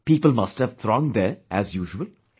People must have thronged there, as usual